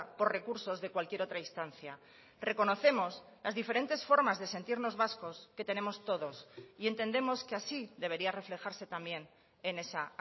por recursos de cualquier otra instancia reconocemos las diferentes formas de sentirnos vascos que tenemos todos y entendemos que así debería reflejarse también en esa